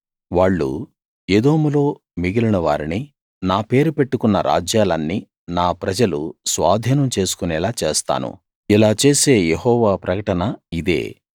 వాళ్ళు ఎదోములో మిగిలిన వారిని నా పేరు పెట్టుకున్న రాజ్యాలన్నీ నా ప్రజలు స్వాధీనం చేసుకునేలా చేస్తాను ఇలా చేసే యెహోవా ప్రకటన ఇదే